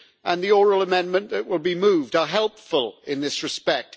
and the oral amendment that will be moved are helpful in this respect.